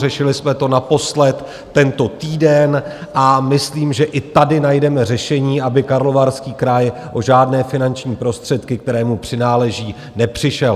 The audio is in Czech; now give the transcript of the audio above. Řešili jsme to naposled tento týden a myslím, že i tady najdeme řešení, aby Karlovarský kraj o žádné finanční prostředky, které mu přináleží, nepřišel.